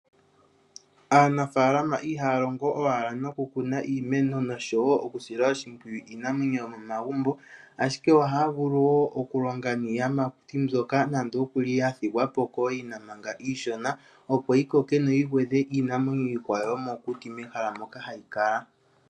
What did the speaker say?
Aanafaalama ihaya longo owala nokukuna iimeno nosho woo okusila oshimpwiyu iinamwenyo yomomagumbo ashike ohaya vulu woo okulonga niiyimakuti mbyoka nande okuli yathigwapo kooyina iishona, opo yi koke yo yi gwe dhe iinamwenyo iikwawo yomokuti mehala moka hayi kala.